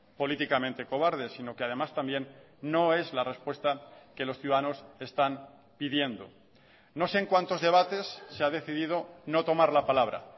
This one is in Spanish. políticamente cobarde sino que además también no es la respuesta que los ciudadanos están pidiendo no sé en cuántos debates se ha decidido no tomar la palabra